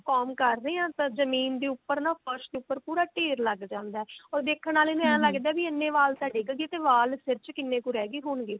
comb ਕਰ ਰਹੇ ਹਾਂ ਤਾਂ ਜਮੀਨ ਦੇ ਉੱਪਰ ਨਾ ਫਰਸ਼ ਦੇ ਉੱਪਰ ਨਾ ਪੂਰਾ ਢੇਰ ਲੱਗ ਜਾਂਦਾ or ਦੇਖਣ ਆਲੇ ਨੂੰ ਐ ਲੱਗਦਾ ਵੀ ਇੰਨੇ ਵਾਲ ਤਾਂ ਡਿੱਗ ਗਏ ਵਾਲ ਸਿਰ ਚ ਕਿੰਨੇ ਕੁ ਰਹਿ ਗਏ ਹੋਣਗੇ